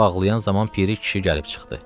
baxlıyan zaman piri kişi gəlib çıxdı.